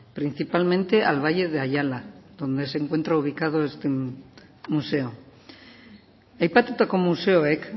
principalmente al valle de ayala donde se encuentra ubicado este museo aipatutako museoek